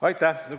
Aitäh!